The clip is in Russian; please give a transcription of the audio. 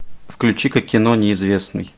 включи ка кино неизвестный